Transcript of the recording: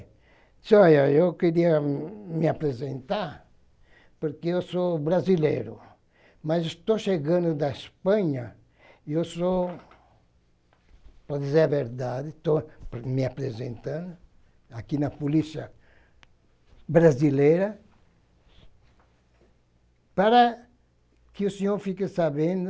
disse olha, eu queria me apresentar, porque eu sou brasileiro, mas estou chegando da Espanha e eu sou, para dizer a verdade, estou me apresentando aqui na polícia brasileira, para que o senhor fique sabendo